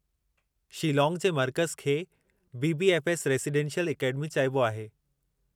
शीलांग जे मर्कज़ु खे बी.बी.एफ़.एस. रेजिडेंशियल अकेडमी चइबो आहे।